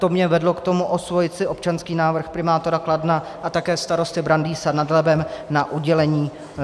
To mě vedlo k tomu osvojit si občanský návrh primátora Kladna a také starosty Brandýsa nad Labem na udělení